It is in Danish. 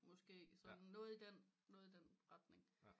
Måske sådan noget i den retning